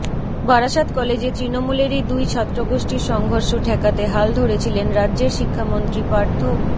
বারাসত কলেজে তৃণমূলেরই দুই ছাত্র গোষ্ঠীর সংঘর্ষ ঠেকাতে হাল ধরেছিলেন রাজ্যের শিক্ষামন্ত্রী পার্থ